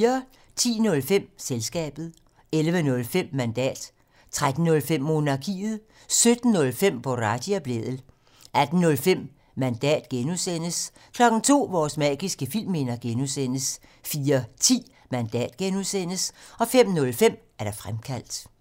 10:05: Selskabet 11:05: Mandat 13:05: Monarkiet 17:05: Boraghi og Blædel 18:05: Mandat (G) 02:00: Vores magiske filmminder (G) 04:10: Mandat (G) 05:05: Fremkaldt